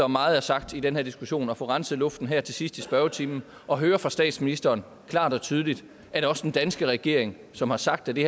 meget er sagt i den her diskussion at få renset luften her til sidst i spørgetimen og høre fra statsministeren klart og tydeligt at også den danske regering som har sagt at det